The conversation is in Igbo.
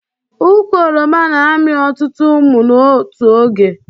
Ụkwụ oroma na amị ọtụtụ ụmụ n'otu oge